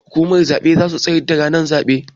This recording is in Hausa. Kwamitin zaben zasu tsayar da ranar zaɓe